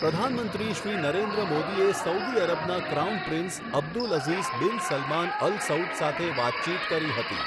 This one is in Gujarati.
પ્રધાનમંત્રી શ્રી નરેન્દ્ર મોદીએ સઉદી અરબના crown prince Abdul Aziz bin Salman Al Saud સાથે વાતચીત કરી હતી.